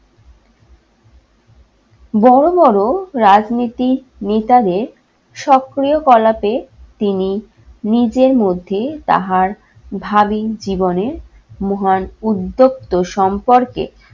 বড় বড় রাজনীতির নেতাদের সক্রিয় কলাপে তিনি নিজের মধ্যে তাহার ভাবি জীবনের মহান উদ্যোক্ত সম্পর্কে